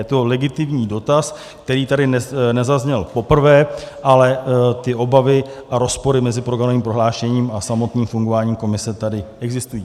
Je to legitimní dotaz, který tady nezazněl poprvé, ale ty obavy a rozpory mezi programovým prohlášením a samotným fungováním komise tady existují.